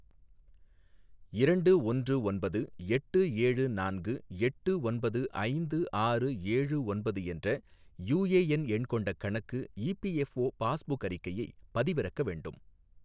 இரண்டு ஒன்று ஒன்பது எட்டு ஏழு நான்கு எட்டு ஒன்பது ஐந்து ஆறு ஏழு ஒன்பது என்ற யுஏஎன் எண் கொண்ட கணக்கு இபிஎஃப்ஓ பாஸ்புக் அறிக்கையை பதிவிறக்க வேண்டும்